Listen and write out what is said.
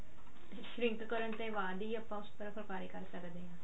shrink ਕਰਨ ਦੇ ਬਾਅਦ ਹੀ ਆਪਾਂ ਉਸ ਪਰ ਫੁੱਲਕਾਰੀ ਕਰ ਸਕਦੇ ਆਂ